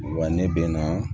Wa ne bɛ na